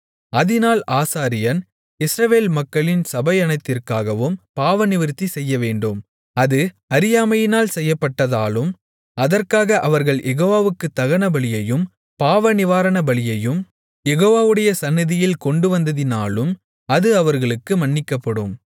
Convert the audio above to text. அதினால் ஆசாரியன் இஸ்ரவேல் மக்களின் சபையனைத்திற்காகவும் பாவநிவிர்த்தி செய்யவேண்டும் அது அறியாமையினால் செய்யப்பட்டதாலும் அதற்காக அவர்கள் யெகோவாவுக்குத் தகனபலியையும் பாவநிவாரணபலியையும் யெகோவாவுடைய சந்நிதியில் கொண்டுவந்ததினாலும் அது அவர்களுக்கு மன்னிக்கப்படும்